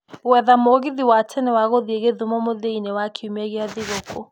gwetha mũgithi wa tene wa gũthiĩ githumo mũthia-inĩ wa kiumia kia thĩgũkuũ